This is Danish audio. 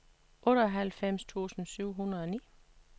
otteoghalvfems tusind syv hundrede og ni